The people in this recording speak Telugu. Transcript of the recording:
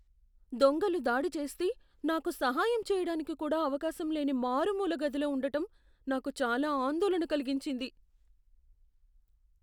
దొంగలు దాడి చేస్తే, నాకు సహాయం చేయడానికి కూడా అవకాశం లేని మారుమూల గదిలో ఉండటం నాకు చాలా ఆందోళన కలిగించింది.